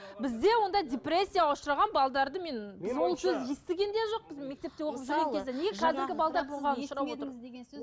бізде ондай депрессияға ұшыраған мен естіген де жоқпын